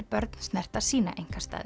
börn snerta sína